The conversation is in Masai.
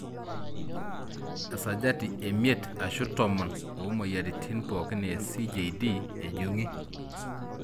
Esajati emiet ashu tomon omoyiaritin pokin e CJD ejunguni.